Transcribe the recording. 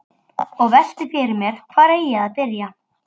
Og velti fyrir mér hvar eigi að byrja.